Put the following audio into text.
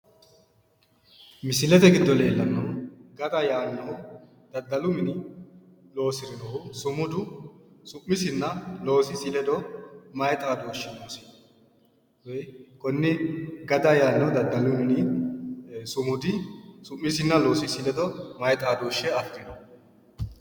Misilete giddo leellannohu gada yaannohu daddalu mini loosirinohu sumudu su'misinna loosisi ledo maayi xaadooshshi noosi? Konne gada yaannohu daddalu mini sumudi su'misinna loosisi ledo maayi xaadooshshe afireyo?